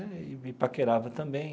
E me paquerava também.